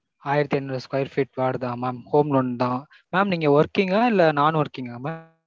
ஆயிரத்து இருநூறு square feet வருதா mam home loan தா? mam நீங்க working இல்ல non-working ஆ mam?